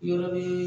Yɔrɔ bɛ